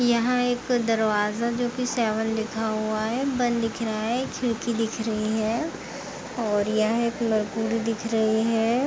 यहाँ एक दरवज़ा जो की सेवन लिखा हुआ हैं बंद दिख रहा है। खिड़की दिख रही हैं और यह एक दिख रही है।